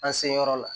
An seyɔrɔ la